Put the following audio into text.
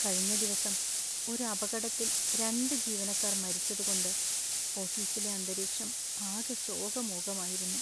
കഴിഞ്ഞ ദിവസം ഒരു അപകടത്തിൽ രണ്ട് ജീവനക്കാർ മരിച്ചതു കൊണ്ട് ഓഫീസിലെ അന്തരീക്ഷം ആകെ ശോകമൂകമായിരുന്നു.